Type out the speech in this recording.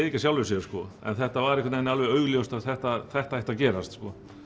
ekki af sjálfu sér en þetta var einhvern veginn augljóst að þetta þetta ætti að gerast